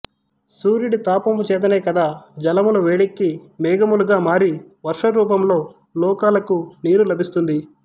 సూర్యుడి తాపము చేతనే కదా జలములు వేడెక్కి మేఘములుగా మారి వర్షరూపంలో లోకాలకు నీరు లభిస్తుంది